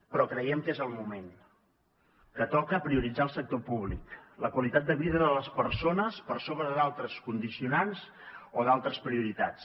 però creiem que és el moment que toca prioritzar el sector públic la qualitat de vida de les persones per sobre d’altres condicionants o d’altres prioritats